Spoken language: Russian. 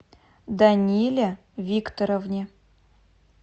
даниле викторовне